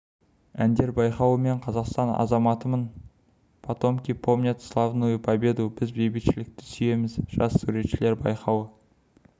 әндер байқауы мен қазақстан азаматымын потомки помнят славную победу біз бейбітшілікті сүйеміз жас суретшілер байқауы